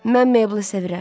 Mən Meyblı sevirəm.